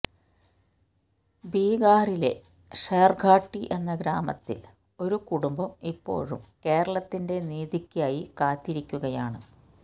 ബീഹാറിലെ ഷേര്ഘാട്ടി എന്ന ഗ്രാമത്തില് ഒരു കുടുംബം ഇപ്പോഴും കേരളത്തിന്റെ നീതിക്കായി കാത്തിരിക്കുകയാണ്